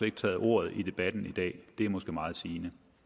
ikke taget ordet i debatten i dag og det er måske meget sigende